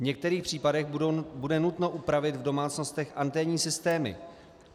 V některých případech bude nutno upravit v domácnostech anténní systémy.